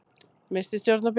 Missti stjórn á bílnum